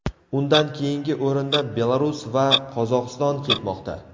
Undan keyingi o‘rinda Belarus va Qozog‘iston ketmoqda.